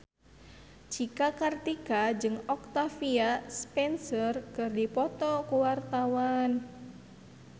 Cika Kartika jeung Octavia Spencer keur dipoto ku wartawan